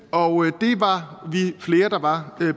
og det var vi flere der var